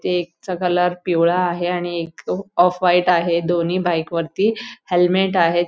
एक चा कलर पिवळा आहे आणि एक तो ऑफ व्हाईट आहे दोन्ही बाईक वरती हेल्मेट आहेत.